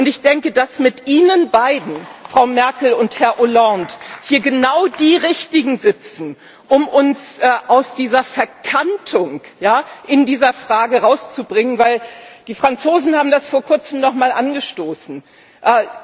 Und ich denke, dass mit Ihnen beiden Frau Merkel und Herr Hollande hier genau die richtigen sitzen, um uns aus dieser Verkantung in dieser Frage rauszubringen, weil die Franzosen das vor Kurzem nochmal angestoßen haben.